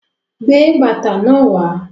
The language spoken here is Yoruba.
Gbé bàtà náà wà